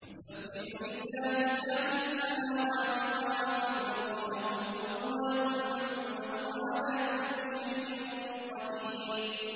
يُسَبِّحُ لِلَّهِ مَا فِي السَّمَاوَاتِ وَمَا فِي الْأَرْضِ ۖ لَهُ الْمُلْكُ وَلَهُ الْحَمْدُ ۖ وَهُوَ عَلَىٰ كُلِّ شَيْءٍ قَدِيرٌ